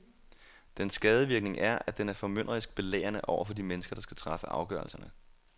Dens skadevirkning er, at den er formynderisk belærende over for de mennesker, der skal træffe afgørelserne.